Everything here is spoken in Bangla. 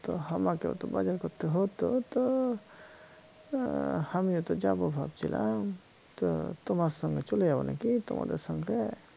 তো হামাকেও তো বাজার করতে হত তো এর হামিও তো যাব ভাবছিলাম তো তোমার সঙ্গে চলে যাব নাকি তোমাদের সঙ্গে